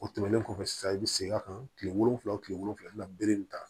O tɛmɛnen kɔfɛ sisan i bɛ segin a kan kile wolonwula o tile wolonwula bere in ta